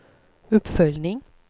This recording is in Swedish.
uppföljning